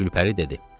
Gülpəri dedi: